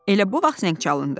Elə bu vaxt zəng çalındı.